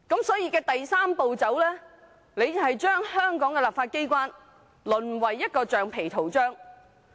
所以，第三步令香港立法機關淪為橡皮圖章。